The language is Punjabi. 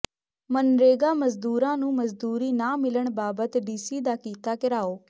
ਮਨਰੇਗਾ ਮਜ਼ਦੂਰਾਂ ਨੂੰ ਮਜ਼ਦੂਰੀ ਨਾ ਮਿਲਣ ਬਾਬਤ ਡੀਸੀ ਦਾ ਕੀਤਾ ਿਘਰਾਓ